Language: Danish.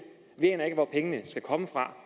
vi aner ikke hvor pengene skal komme fra